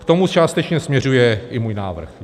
K tomu částečně směřuje i můj návrh.